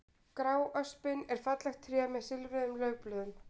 Gráöspin er fallegt tré með silfruðum laufblöðum.